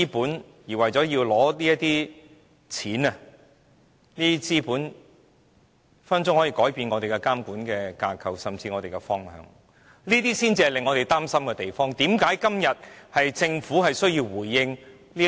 就是為了取得這些錢和資本，便改變我們的監管架構和方向，這才是令我們擔心的地方，也是政府今天需要回應的質疑。